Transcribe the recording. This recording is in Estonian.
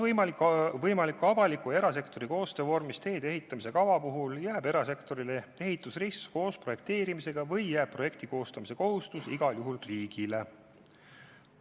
Viies küsimus: "Kas võimaliku avaliku ja erasektori koostöö vormis teede ehitamise kava puhul jääb erasektorile ehitusrisk koos projekteerimisega või jääb projekti koostamise kohustus igal juhul riigile?